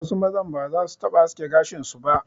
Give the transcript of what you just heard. Wasu mazan ba zasu taɓa aske gashin su ba.